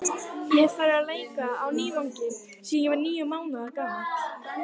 Ég hef farið á leiki á Nývangi síðan ég var níu mánaða gamall.